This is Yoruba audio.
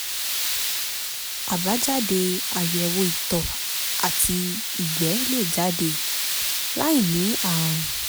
àbájáde àyẹ̀wò ìtọ̀ àti ìgbẹ́ lè jáde láì ní ààrùn